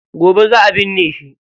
Gobe za a binne shi.